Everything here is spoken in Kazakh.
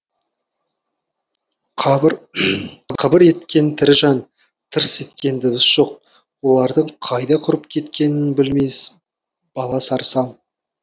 қыбыр еткен тірі жан тырс еткен дыбыс жоқ олардың қайда құрып кеткенін білмей бала сарсаң